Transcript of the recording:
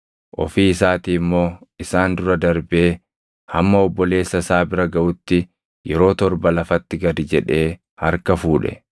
Ofii isaatii immoo isaan dura darbee hamma obboleessa isaa bira gaʼutti yeroo torba lafatti gad jedhee harka fuudhe.